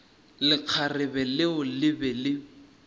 lekgarebe leo le be le